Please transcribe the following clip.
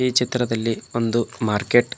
ಈ ಚಿತ್ರದಲ್ಲಿ ಒಂದು ಮಾರ್ಕೆಟ್ .